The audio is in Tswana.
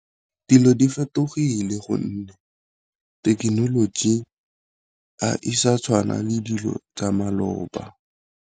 Dilo di fetogile gonne thekenoloji a isa tshwana le dilo tsa maloba.